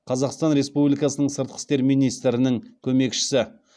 қазақстан республикасының сыртқы істер министрінің көмекшісі